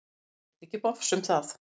Hann veit ekki bofs um það.